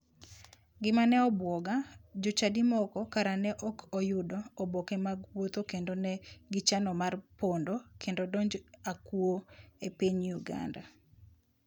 Gima ne obwoga, jochadi moko kara ne ok oyudoga oboke mag wuoth kendo ne gichano mar pondo kendo donjo akuo e piny uganda.